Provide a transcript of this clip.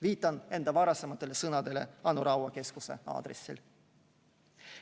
Viitan enda varasematele sõnadele Anu Raua keskuse aadressil.